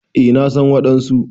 Eh na san wadansu.